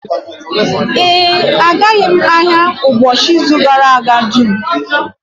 Ee, agaghị m ahịa ụbọchị izu gara aga dum